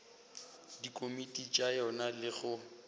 dikomiti tša yona le go